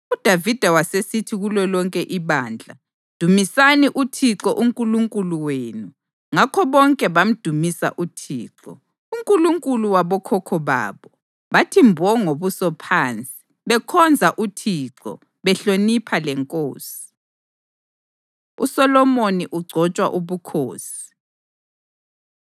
UDavida wasesithi kulolonke ibandla, “Dumisani uThixo uNkulunkulu wenu.” Ngakho bonke bamdumisa uThixo, uNkulunkulu wabokhokho babo, bathi mbo ngobuso phansi, bekhonza uThixo, behlonipha lenkosi. USolomoni Ugcotshwa Ubukhosi